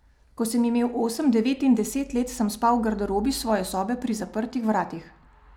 Ko sem imel osem, devet in deset let, sem spal v garderobi svoje sobe pri zaprtih vratih.